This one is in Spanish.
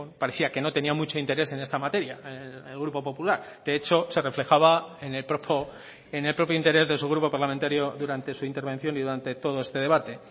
parecía que no tenía mucho interés en esta materia el grupo popular de hecho se reflejaba en el propio interés de su grupo parlamentario durante su intervención y durante todo este debate